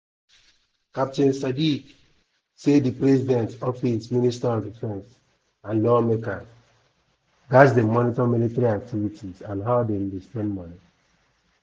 captain sadiq say di president office minister of defence and lawmakers gatz dey monitor military activities and how dem dey spend money.